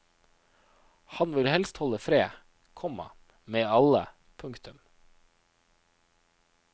Han vil helst holde fred, komma med alle. punktum